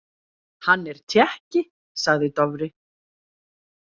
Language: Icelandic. Hann er Tékki, sagði Dofri.